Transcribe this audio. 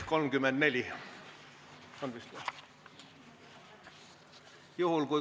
Lugupeetud kolleegid!